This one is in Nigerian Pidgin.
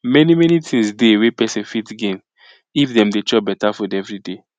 many many things dey wey pesin fit gain if dem dey chop beta food everyday